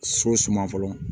So suma fɔlɔ